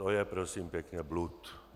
To je prosím pěkně blud.